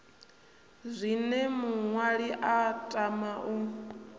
zwine muṅwali a tama u